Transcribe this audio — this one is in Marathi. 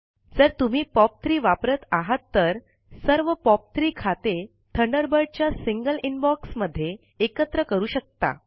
जर तुम्ही पॉप3 वापरत आहात तर पॉप 3 खाते थंडरबर्ड च्या सिंगल इनबॉक्स मध्ये एकत्र करू शकता